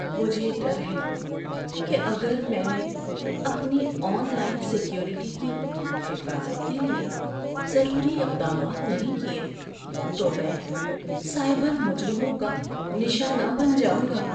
مجھے ڈر ہے کہ اگر میں نے اپنی آن لائن سیکیورٹی کی حفاظت کے لیے ضروری اقدامات نہیں کیے تو میں سائبر مجرموں کا نشانہ بن جاؤں گا۔